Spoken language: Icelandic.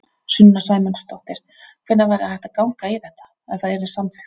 Sunna Sæmundsdóttir: Hvenær væri hægt að ganga í þetta, ef það yrði samþykkt?